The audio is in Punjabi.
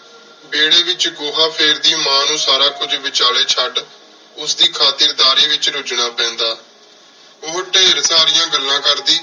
ਵੇਰ੍ਹ੍ਯ ਵਿਚ ਗੋਹਾ ਫੇਰਦੀ ਮਾਂ ਨੂ ਸਾਰਾ ਕੁਝ ਵਿਚਲੀ ਚੜ ਉਸ ਦੀ ਖਾਤਿਰ ਦਰਿ ਵਿਚ ਰਚਨਾ ਪੀਂਦਾ ਓਹੋ ਢੇਰ ਸਰਿਯਾਂ ਗੱਲਾਂ ਕਰਦੀ